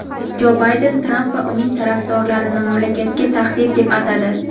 Jo Bayden Tramp va uning tarafdorlarini "mamlakatga tahdid" deb atadi.